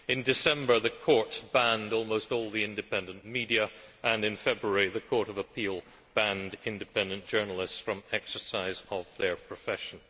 In December, the courts banned almost all independent media, and in February the Court of Appeal banned independent journalists from exercising their profession.